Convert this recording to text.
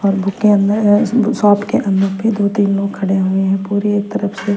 और बुक के अंदर अ स शॉप के अंदर पे दो तीन लोग खड़े हुए है पूरी एक तरफ से--